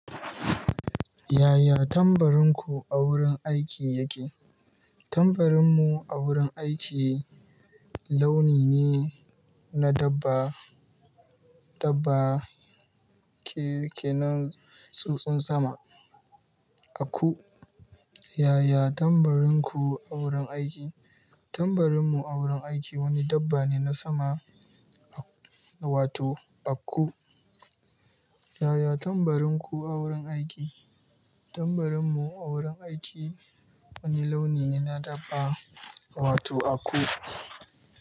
Yaya tambarinku a wurin aiki yake? Tambarinmu a wurin aiki launi ne na dabba, dabba ke, ke na tsutsun sama, aku. Yaya tambarinku a wurin aiki? Tambarinmu a wurin aiki wani dabba ne na sama, wato aku. Yaya tambarinku a wurin aiki? Tambarinmu a wurin aiki wani launi ne na dabba, wato aku.